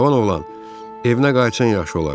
Cavan oğlan, evinə qayıtsan yaxşı olar.